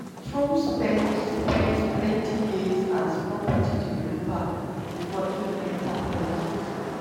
trump spend spend plenty years as property developer bifor im enta politics.